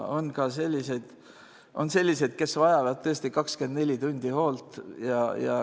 On ka selliseid, kes vajavad tõesti 24 tundi hoolt.